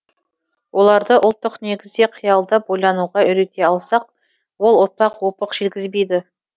оларды ұлттық негізде қиялдап ойлануға үйрете алсақ ол ұрпақ опық жегізбейді